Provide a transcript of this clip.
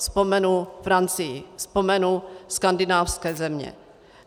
Vzpomenu Francii, vzpomenu skandinávské země.